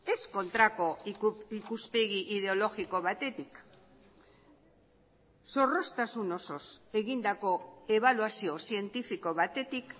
ez kontrako ikuspegi ideologiko batetik zorroztasun osoz egindako ebaluazio zientifiko batetik